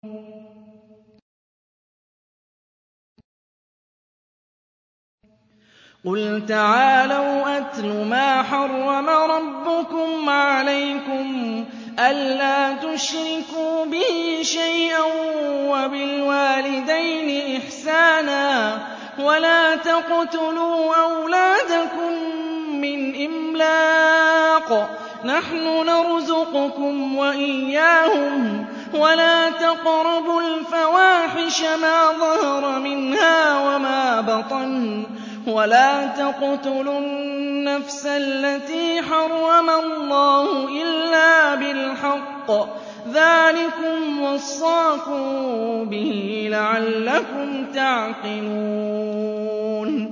۞ قُلْ تَعَالَوْا أَتْلُ مَا حَرَّمَ رَبُّكُمْ عَلَيْكُمْ ۖ أَلَّا تُشْرِكُوا بِهِ شَيْئًا ۖ وَبِالْوَالِدَيْنِ إِحْسَانًا ۖ وَلَا تَقْتُلُوا أَوْلَادَكُم مِّنْ إِمْلَاقٍ ۖ نَّحْنُ نَرْزُقُكُمْ وَإِيَّاهُمْ ۖ وَلَا تَقْرَبُوا الْفَوَاحِشَ مَا ظَهَرَ مِنْهَا وَمَا بَطَنَ ۖ وَلَا تَقْتُلُوا النَّفْسَ الَّتِي حَرَّمَ اللَّهُ إِلَّا بِالْحَقِّ ۚ ذَٰلِكُمْ وَصَّاكُم بِهِ لَعَلَّكُمْ تَعْقِلُونَ